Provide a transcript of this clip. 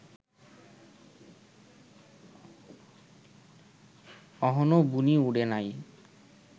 অহনো বুনি উডে নাই